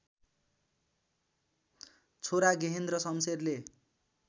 छोरा गेहेन्द्र शमशेरले